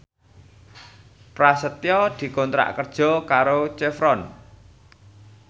Prasetyo dikontrak kerja karo Chevron